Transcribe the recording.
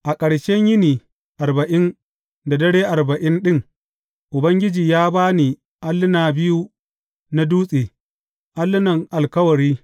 A ƙarshen yini arba’in da dare arba’in ɗin, Ubangiji ya ba ni alluna biyu na dutse, allunan alkawari.